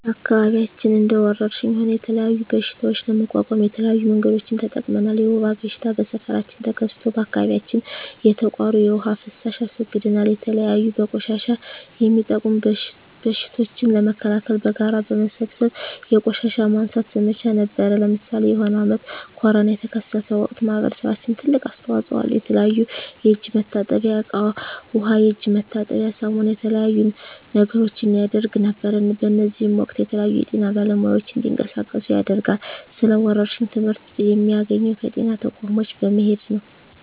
በአከባቢያችን እንደ ወረርሽኝ ሆነ የተለያዩ በሽታዎች ለመቋቋም የተለያዩ መንገዶችን ተጠቅመናል የወባ በሽታ በሠፈራችን ተከስቶ በአካባቢያችን የተቃሩ የዉሃ ፋሳሽ አስወግደናል የተለያዩ በቆሻሻ የሚጡም በሽቶችን ለመከላከል በጋራ በመሠብሰብ የቆሻሻ ማንሳት ዘመቻ ነበረነ ለምሳሌ የሆነ አመት ኮርና የተከሰተ ወቅት ማህበረሰባችን ትልቅ አስተዋጽኦ አለው የተለያዩ የእጅ መታጠብያ እቃ ዉሃ የእጅ መታጠቢያ ሳሙና የተለያዩ ነገሮችን ያረግ ነበር በእዚህም ወቅትም የተለያዩ የጤና ባለሙያዎች እንዲቀሳቀሱ ያደርጋል ስለ ወረርሽኝ ትመህርት የሚያገኘው ከጤና ተቋሞች በመሄድ ነው